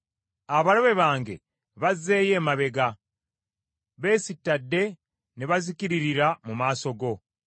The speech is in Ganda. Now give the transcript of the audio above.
Abalabe bange bazzeeyo emabega, beesittadde ne bazikiririra mu maaso go.